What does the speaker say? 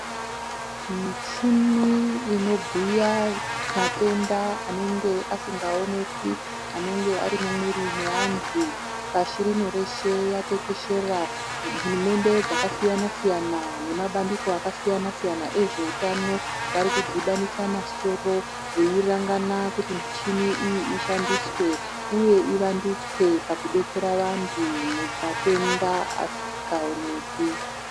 Michini inobhuya matenda anenge asingaoneki anenge ari mumwiri yeantu pashi rino reshe yatekeshera hurumende dzakasiyana siyana nemabandiko akasiyana siyana ezvekutano ari varikudhibanisa masoro veirangana kuti michini iyi ishandiswe uye ivandutswe pakudetsera vantu mumatenda asingaoneki.